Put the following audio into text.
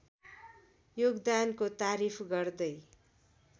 योगदानको तारिफ गर्दै